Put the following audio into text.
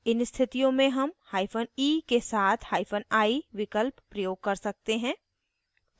इन स्थितियों में हम hyphen e के साथ hyphen i विकल्प प्रयोग कर सकते हैं